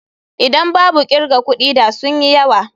Idan babu kirga kudi da sun yi yawa.